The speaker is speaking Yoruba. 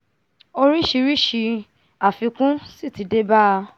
orísìírísìí àfikún sì ti dé bá a